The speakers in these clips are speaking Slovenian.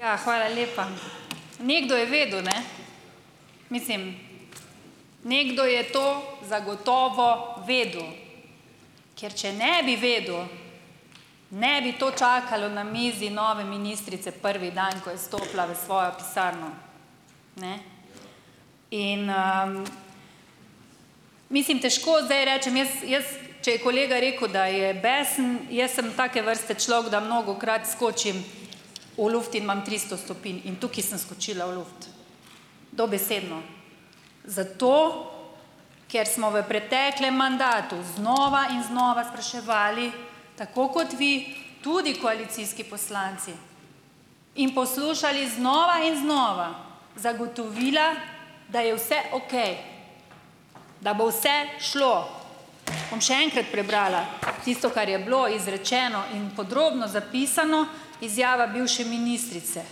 Ja, hvala lepa. Nekdo je vedel, ne? Mislim, nekdo je to zagotovo vedel, ker če ne bi vedel, ne bi to čakalo na mizi nove ministrice prvi dan, ko je stopila v svojo pisarno, ne in . Mislim, težko zdaj rečem, jaz, jaz če je kolega rekel, da je besen, jaz sem take vrste človek, da mnogokrat skočim v luft in imam tristo stopinj in tukaj sem skočila v luft, dobesedno. Zato, ker smo v preteklem mandatu znova in znova spraševali, tako kot vi, tudi koalicijski poslanci, in poslušali znova in znova zagotovila, da je vse okej, da bo vse šlo. Bom še enkrat prebrala tisto, kar je bilo izrečeno in podrobno zapisano, izjava bivše ministrice,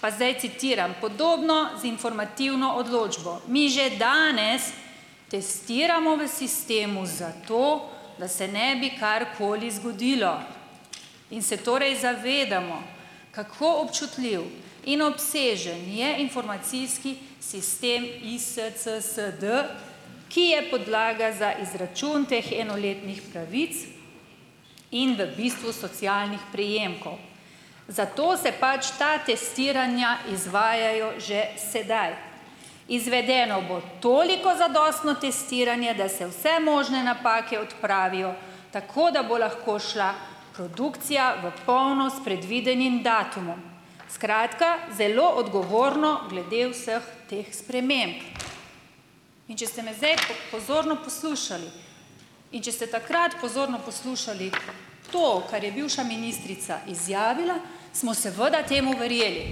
pa zdaj citiram: "Podobno z informativno odločbo mi že danes testiramo v sistemu zato, da se ne bi karkoli zgodilo in se torej zavedamo, kako občutljiv in obsežen je informacijski sistem ISCSD, ki je podlaga za izračun teh enoletnih pravic in v bistvu socialnih prejemkov. Zato se pač ta testiranja izvajajo že sedaj. Izvedeno bo toliko zadostno testiranje, da se vse možne napake odpravijo, tako da bo lahko šla produkcija v polno s predvidenim datumom, skratka, zelo odgovorno glede vseh teh sprememb." In če ste me zdaj po pozorno poslušali in če ste takrat pozorno poslušali to, kar je bivša ministrica izjavila, smo seveda temu verjeli.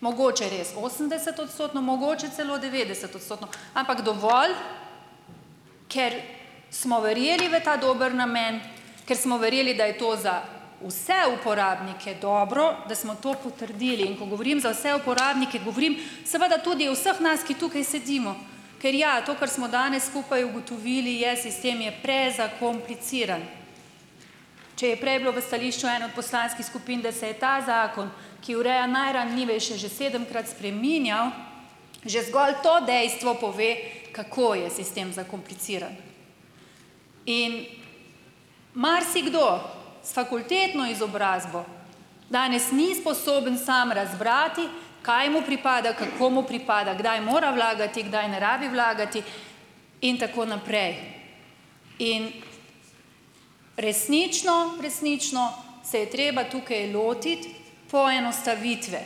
Mogoče res osemdesetodstotno, mogoče celo devetdesetodstotno, ampak dovolj, ker smo verjeli v ta dober namen, ker smo verjeli, da je to za vse uporabnike dobro, da smo to potrdili, in ko govorim za vse uporabnike, govorim seveda tudi o vseh nas, ki tukaj sedimo, ker ja, to, kar smo danes skupaj ugotovili, je sistem je prezakompliciran. Če je prej bilo v stališču ene od poslanskih skupin, da se je ta zakon, ki ureja najranljivejše že sedemkrat spreminjal, že zgolj to dejstvo pove, kako je sistem zakompliciran. In marsikdo s fakultetno izobrazbo danes ni sposoben samo razbrati, kaj mu pripada, kako mu pripada, kdaj mora vlagati, kdaj ne rabi vlagati in tako naprej in resnično, resnično se je treba tukaj lotiti poenostavitve.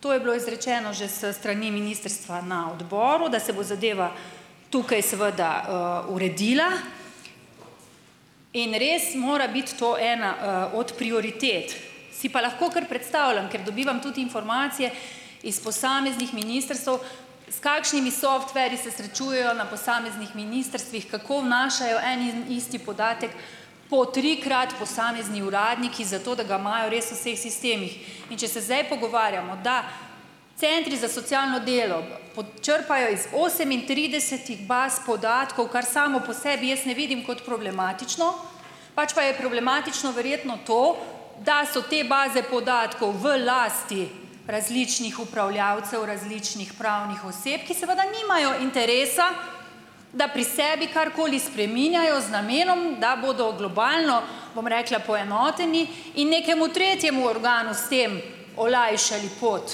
To je bilo izrečeno že s strani ministrstva na odboru, da se bo zadeva tukaj seveda uredila in res mora biti to ena od prioritet, si pa lahko kar predstavljam, ker dobivam tudi informacije iz posameznih ministrstev, s kakšnimi softverji se srečujejo na posameznih ministrstvih, kako vnašajo en in isti podatek po trikrat posamezni uradniki, zato da ga imajo res v vseh sistemih. In če se zdaj pogovarjamo, da centri za socialno delo počrpajo iz osemintridesetih baz podatkov, kar samo po sebi jaz en vidim kot problematično, pač pa je problematično verjetno to, da so te baze podatkov v lasti različnih upravljavcev, različnih pravnih oseb, ki seveda nimajo interesa, da pri sebi karkoli spreminjajo z namenom, da bodo globalno, bom rekla, poenoteni in nekemu tretjemu organu s tem olajšali pot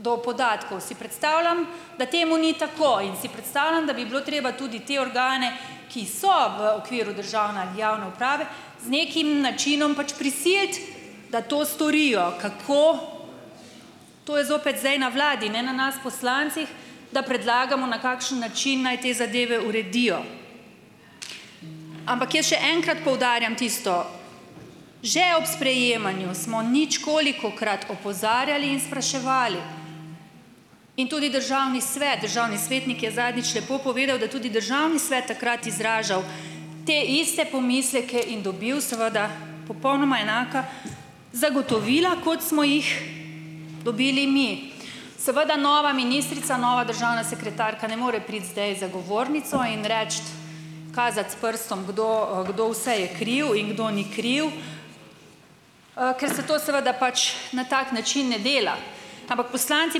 do podatkov. Si predstavljam, da temu ni tako in si predstavljam, da bi bilo treba tudi te organe, ki so v okviru državne ali javne uprave, z nekim načinom pač prisiliti, da to storijo. Kako, to je zopet zdaj na vladi, ne na nas poslancih, da predlagamo, na kakšen način naj te zadeve uredijo. Ampak jaz še enkrat poudarjam tisto že ob sprejemanju smo ničkolikokrat opozarjali in spraševali in tudi Državni svet, državni svetnik je zadnjič lepo povedal, da tudi državni svet takrat izražal te iste pomisleke in dobil seveda popolnoma enaka zagotovila, kot smo jih dobili mi. Seveda nova ministrica, nova državna sekretarka ne more priti zdaj z zagovornico in reči, kazati s prstom kdo, kdo vse je kriv in kdo ni kriv, ker se to seveda pač na tak način ne dela. Ampak poslanci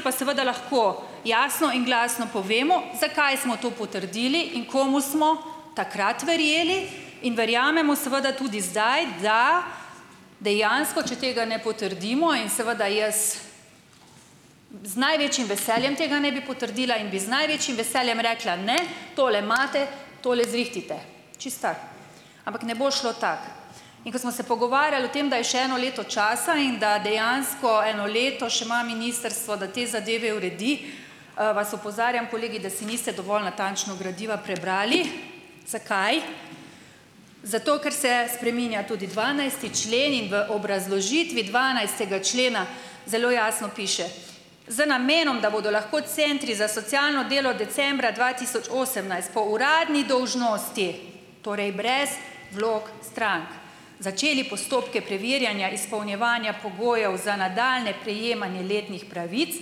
pa seveda lahko jasno in glasno povemo, zakaj smo to potrdili in komu smo takrat verjeli in verjamemo seveda tudi zdaj, da dejansko, če tega ne potrdimo in seveda jaz z največjim veseljem tega ne bi potrdila in bi z največjim veseljem rekla: "Ne, tole imate, tole zrihtajte, čisto tako." Ampak ne bo šlo tako. In ko smo se pogovarjali o tem, da je še eno leto časa in da dejansko eno leto še ima ministrstvo, da te zadeve uredi, vas opozarjam, kolegi, da si niste dovolj natančno gradiva prebrali. Zakaj? Zato ker se spreminja tudi dvanajsti člen in v obrazložitvi dvanajstega člena zelo jasno piše: Z namenom, da bodo lahko centri za socialno delo decembra dva tisoč osemnajst po uradni dolžnosti, torej brez vlog strank, začeli postopke preverjanja izpolnjevanja pogojev za nadaljnje prejemanje letnih pravic,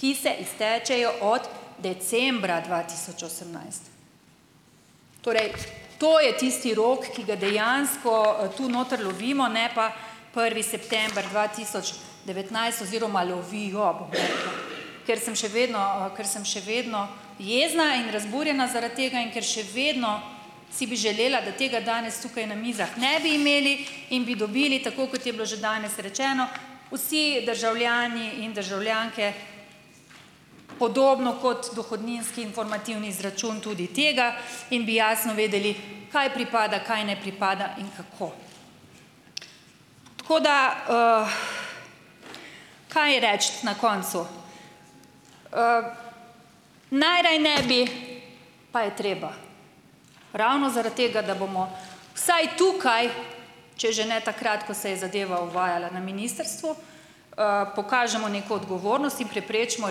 ki se iztečejo od decembra dva tisoč osemnajst. Torej to je tisti rok, ki ga dejansko tu notri lovimo, ne pa prvi september dva tisoč devetnajst oziroma lovijo, bom rekla. Ker sem še vedno ker sem še vedno jezna in razburjena zaradi tega, in ker še vedno si bi želela, da tega danes tukaj na mizah ne bi imeli in bi dobili, tako kot je bilo že danes rečeno, vsi državljani in državljanke podobno kot dohodninski informativni izračun tudi tega in bi jasno vedeli, kaj pripada, kaj ne pripada in kako. Tako da kaj reči na koncu. Najraje ne bi, pa je treba. Ravno zaradi tega, da bomo vsaj tukaj, če že ne takrat, ko se je zadeva uvajala na ministrstvu, pokažemo neko odgovornost in preprečimo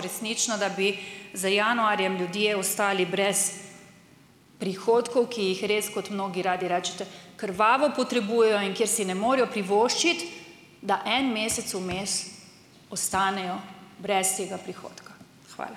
resnično, da bi z januarjem ljudje ostali brez prihodkov, ki jih res, kot mnogi radi rečete, krvavo potrebujejo, in kjer si ne morejo privoščiti, da en mesec vmes ostanejo brez tega prihodka. Hvala.